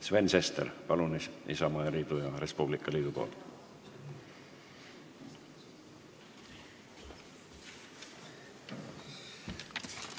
Sven Sester, palun Isamaa ja Res Publica liidu nimel!